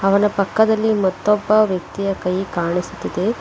ಅವನ ಪಕ್ಕದಲ್ಲಿ ಮತ್ತೊಬ್ಬ ವ್ಯಕ್ತಿಯ ಕೈ ಕಾಣಿಸುತ್ತಿದೆ.